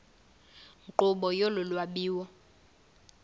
nkqubo yolu lwabiwo